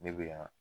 Ne bɛ yan